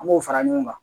An b'o fara ɲɔgɔn kan